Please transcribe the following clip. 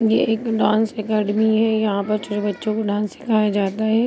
ये एक dance academy है यहा पे छोटे बच्चों को डांस सिखाया जाता है।